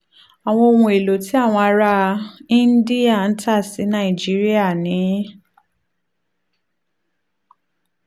àwọn ohun èlò tí àwọn ará íńdíà ń tà sí nàìjíríà ni